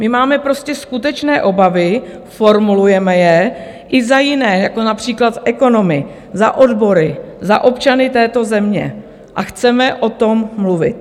My máme prostě skutečné obavy, formulujeme je i za jiné, jako například za ekonomy, za odbory, za občany této země, a chceme o tom mluvit.